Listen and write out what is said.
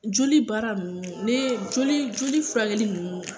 Joli baara ne joli furakɛli ninnu